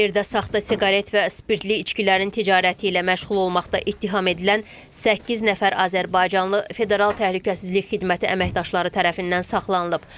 Tverdə saxta siqaret və spirtli içkilərin ticarəti ilə məşğul olmaqda ittiham edilən səkkiz nəfər azərbaycanlı federal təhlükəsizlik xidməti əməkdaşları tərəfindən saxlanılıb.